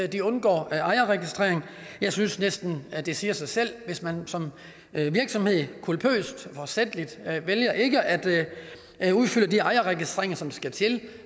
de undgår ejerregistrering jeg synes næsten det siger sig selv at hvis man som virksomhed culpøst forsætligt vælger ikke at at udfylde de ejerregistreringer som skal til